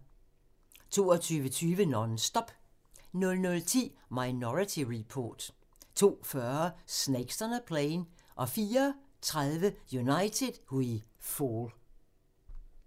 22:20: Non-Stop 00:10: Minority Report 02:40: Snakes On a Plane 04:30: United We Fall